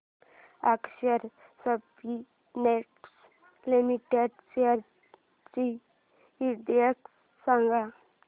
अक्षर Spintex limited shares चा index सांगा